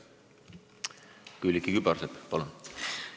Külliki Kübarsepp, palun!